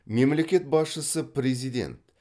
мемлекет басшысы президент